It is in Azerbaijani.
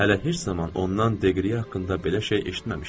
Hələ heç zaman ondan Deqriya haqqında belə şey eşitməmişdim.